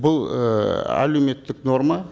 бұл ііі әлеуметтік норма